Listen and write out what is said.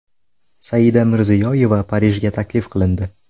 Saida Mirziyoyeva Parijga taklif qilindi .